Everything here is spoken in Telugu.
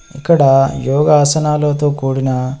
ఇక్కడ యోగాసనాలతో కూడిన--